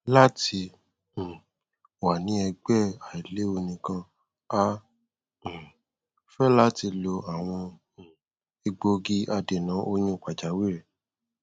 lati um wa ni ẹgbẹ ailewu nikan a um fẹ lati lo awọn um egbogi adena oyun pajawiri